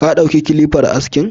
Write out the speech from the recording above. Ka ɗauki kilifar askin?